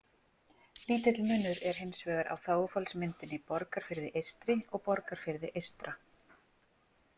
Lítill munur er hins vegar á þágufallsmyndinni Borgarfirði eystri og Borgarfirði eystra.